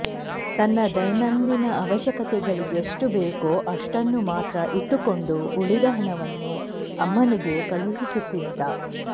ತನ್ನ ದೈನಂದಿನ ಅವಶ್ಯಕತೆಗಳಿಗೆಷ್ಟು ಬೇಕೋ ಅಷ್ಟನ್ನು ಮಾತ್ರ ಇಟ್ಟುಕೊಂಡು ಉಳಿದ ಹಣವನ್ನು ಅಮ್ಮನಿಗೆ ಕಳುಹಿಸುತ್ತಿದ್ದ